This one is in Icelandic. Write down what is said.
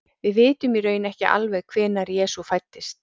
Við vitum í raun ekki alveg hvenær Jesú fæddist.